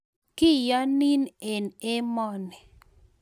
Kiyonin eng' emoni